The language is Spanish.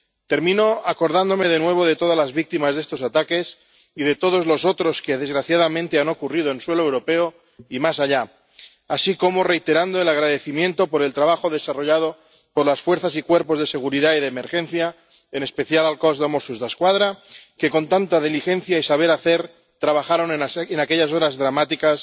Termino acordándome de nuevo de todas las víctimas de estos ataques y de todos los otros que desgraciadamente han ocurrido en suelo europeo y más allá, así como reiterando el agradecimiento por el trabajo desarrollado por las fuerzas y cuerpos de seguridad y de emergencia, en especial al Cos de Mossos d'Esquadra, que con tanta diligencia y saber hacer trabajaron en aquellas horas dramáticas